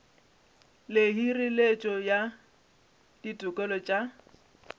le hireletšo ya ditokelo tša